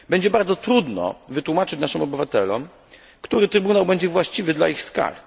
Będzie bardzo trudno wytłumaczyć naszym obywatelom, który trybunał będzie właściwy dla ich skarg.